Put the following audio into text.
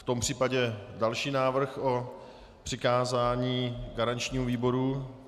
V tom případě další návrh o přikázání garančnímu výboru.